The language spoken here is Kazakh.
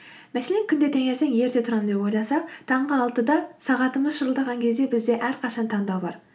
мәселен күнде таңертең ерте тұрамын деп ойласақ таңғы алтыда сағатымыз шырылдаған кезде бізде әрқашан таңдау бар